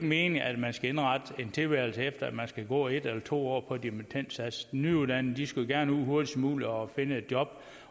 meningen at man skal indrette en tilværelse efter om man skal gå en eller to år på dimittendsats de nyuddannede skulle gerne ud hurtigst muligt og finde et job